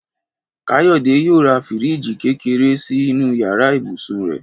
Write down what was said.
Káyọ̀dé yóò ra fíríìjì kékeré sínú yàrá ibùsùn rẹ̀